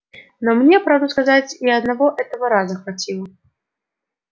но мне правду сказать и одного этого раза хватило